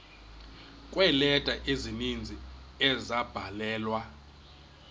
kweeleta ezininzi ezabhalelwa